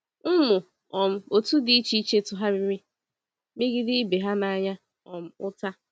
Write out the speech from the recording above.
Ụmụ um otu dị iche iche tụgharịrị megide ibe ha n’anya um ụta.